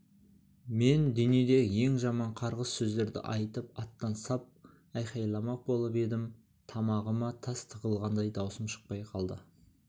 мен дүниедегі ең жаман қарғыс сөздерді айтып аттан сап айқайламақ болып едім тамағыма тас тығылғандай даусым шықпай қалды